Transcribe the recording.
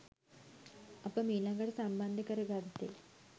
අප මීළඟට සම්බන්ධ කර ගත්තේ